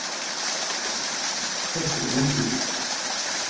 Heimir: Þetta eru vonbrigði?